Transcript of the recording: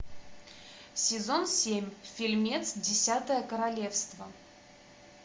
сезон семь фильмец десятое королевство